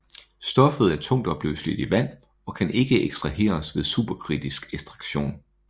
Stoffet er tungtopløseligt i vand og kan ikke ekstraheres ved superkritisk ekstraktion